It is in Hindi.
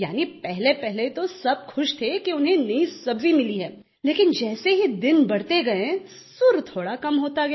यानि पहलेपहले तो सब खुश थे कि उन्हें नई सब्जी मिली है लेकिन जैसे ही दिन बढ़ते गये सुर थोड़ा कम होता गया